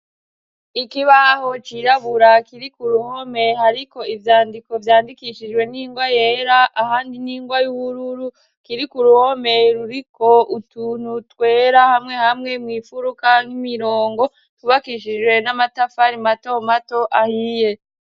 Ikibaho cirabura kiri ku ruhome hariko ivyandiko vyandikishijwe n'ingwa yera, ahandi n'ingwa y'uhururu; kiri ku ruhome ruriko utuntu twera hamwe hamwe mw' ifuruka nk'imirongo; twubakishijwe n'amatafari mato mato ahiye.